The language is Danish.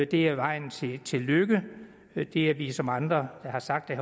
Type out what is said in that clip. det er vejen til til lykke at det er vi som andre har sagt det